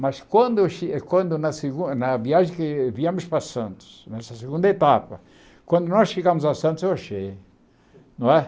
Mas quando eu che quando na segun na viagem que viemos para Santos, nessa segunda etapa, quando nós chegamos a Santos, eu achei, não é?